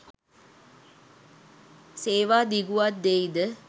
සේවා දිගුවක් දෙයි ද